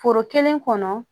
Foro kelen kɔnɔ